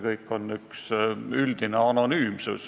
Kõik on üldine, anonüümne.